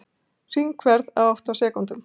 Hringferð á átta sekúndum